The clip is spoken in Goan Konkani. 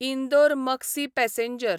इंदोर मक्सी पॅसेंजर